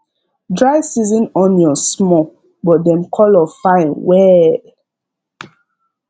dry season onions small but dem colour fine well